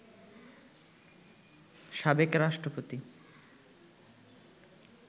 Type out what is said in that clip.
সাবেক রাষ্ট্রপতি